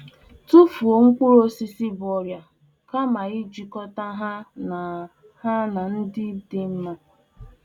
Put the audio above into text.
Na -etufu mkpụrụakụkụ bu ọrịa karịa ngwakọta hana ndị nke dị mma.